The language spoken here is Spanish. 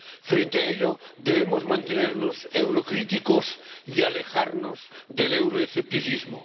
Frente a ello, debemos mantenernos eurocríticos y alejarnos del euroescepticismo.